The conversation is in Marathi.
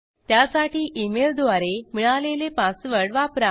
त्यासाठी इमेल द्वारे मिळालेला पासवर्ड वापरा